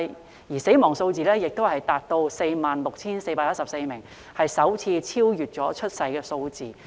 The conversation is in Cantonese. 然而，死亡人數達 46,414 名，首次超越出生人數。